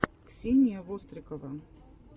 ксения вострикова